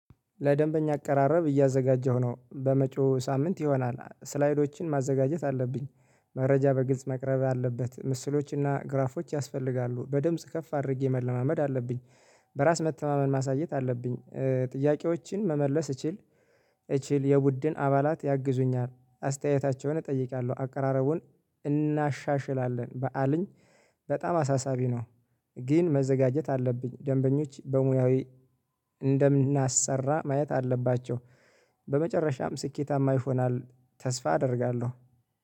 ለደንበኛ አቀራረብ እያዘጋጀሁ ነው በመጪው ሳምንት ይሆናል ስላይዶችን ማዘጋጀት አለብኝ። መረጃ በግልጽ መቅረብ አለበት ምስሎችና ግራፎች ያስፈልጋሉ በድምጽ ከፍ አድርጌ መለማመድ አለብኝ። በራስ መተማመን ማሳየት አለብኝ ጥያቄዎችን መመለስ እችል። እችል የቡድን አባላት ያግዙኛል አስተያየታቸውን እጠይቃለሁ አቀራረቡን እናሻሽላለን በዓልኝ። በጣም አሳሳቢ ነው። ግን መዘጋጀት አለብኝ ደንበኞች በሙያ እንደምናሰራ ማየት አለባቸው። በመጨረሻም ስኬታማ ይሆናል ተስፋ አደርጋለሁ